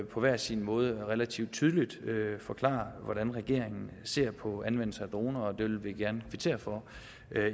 på hver sin måde relativt tydeligt forklarer hvordan regeringen ser på anvendelsen af droner og det vil vi gerne kvittere for